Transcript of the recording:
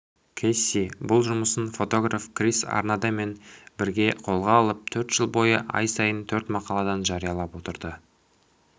кесси бұл жұмысын фотограф крис арнадемен бірге қолға алып төрт жыл бойы ай сайын төрт мақаладан жариялап отырды